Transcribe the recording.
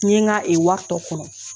N ye n ka i wari tɔ kɔnɔ